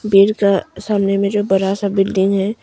ईंट का सामने में जो बरा सा बिल्डिंग है।